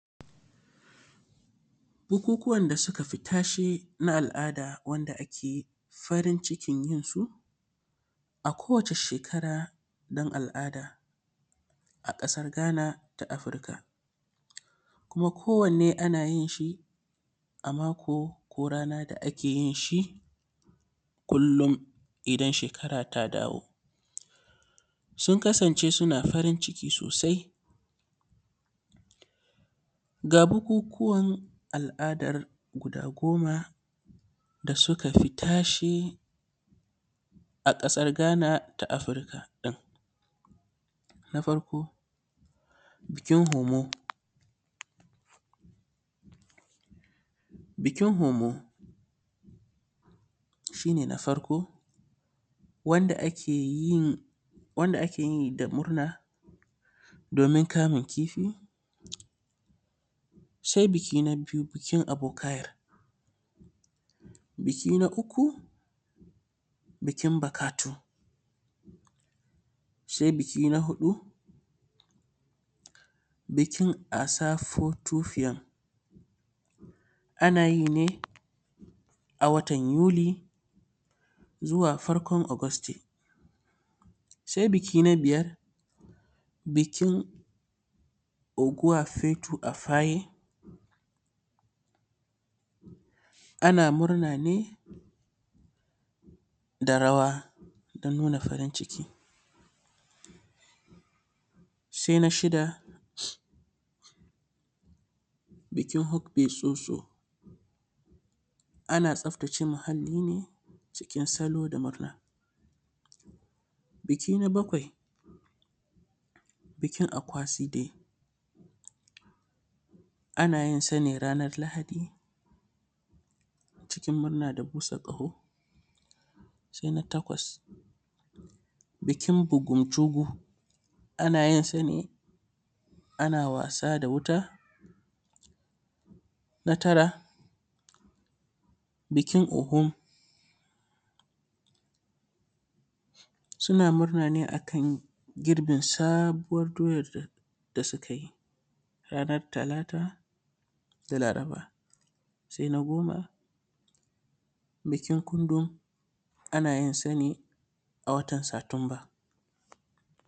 Bukuwan da sukafi tashe na al’ada wanda ake farin cikin yinsu a kowata shekara dan al’ada a ƙasar ganata afirika. Kuma ko wanne a ana yinshi a mako ko rana da akeyi kullum idan shekara ta dawo, sun kasance suna farin ciki sosai. Ga bukukuwan al’adar guda goma da sukafi tashe a ƙasar gana ta afirika ɗin. na farko bikin homo, bikin homo shine na farko wanda akeyin, wanda akeyi da murna domin kamun kifi. Sai biki na biyu bikin abokayar. Biki na uku bikin buƙatu. Sai biki na huɗu bikin asafotofiyan anayi ne a watan yuli zuwa farkon ogosti. Sai biki na biyar bikin uguwafetu afaye ana murna ne da rawa da nuna farin ciki. Sai na shida bikin hukbisoso ana tsaftace muhalli ne cikin salo da murna. Biki na bakwai bikinakwasibe anayin sane ranar lahadi cikin murna da busa ƙaho. Sai na takwas bikin bugubjubu ana yinsa ne ana wasa da wuta. Na tara bikin ogun suna murna ne akan girbin sabuwar doyan da sukayi ranan talata da laraba. Sai na goma bikin kundun ana yinsa ne a watan satumba.